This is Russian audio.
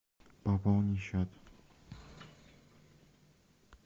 пополни счет